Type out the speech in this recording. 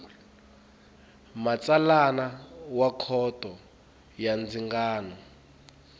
matsalana wa khoto ya ndzingano